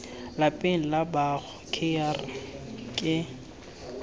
lapeng la gaabo kgr ke